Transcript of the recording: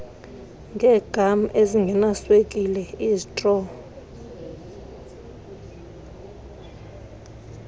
ngeegam ezingenaswekile izitro